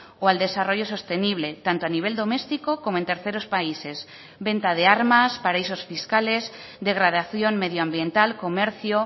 o al desarrollo sostenible tanto a nivel doméstico como en terceros países venta de armas paraísos fiscales degradación medioambiental comercio